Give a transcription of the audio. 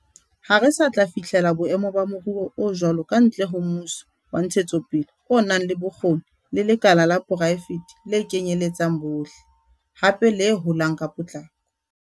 Ha re sa tla fihlela boemo ba moruo o jwalo kantle ho mmuso wa ntshetsopele o nang le bokgoni le lekala la poraefete le kenyeletsang bohle, hape le holang ka potlako.